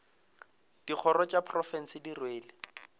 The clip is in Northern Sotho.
dikgoro tša profense di rwele